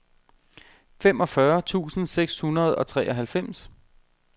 femogfyrre tusind seks hundrede og treoghalvfems